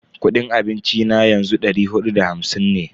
Kudin abinci na yanzu dari hudu da hamsin ne.